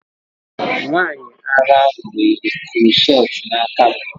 Nwanyị ara ahụ nwere crochet n'aka m.